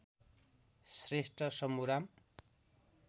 Shrestha Shambhuram